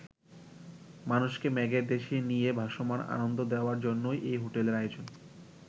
মানুষকে মেঘের দেশে নিয়ে ভাসমান আনন্দ দেওয়ার জন্যই এই হোটেলের আয়োজন।